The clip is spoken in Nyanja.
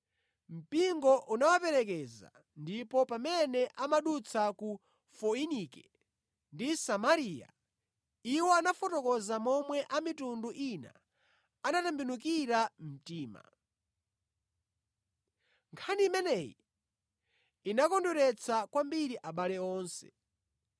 Mpingo unawaperekeza, ndipo pamene amadutsa ku Foinike ndi Samariya, iwo anafotokoza momwe a mitundu ina anatembenukira mtima. Nkhani imeneyi inakondweretsa kwambiri abale onse.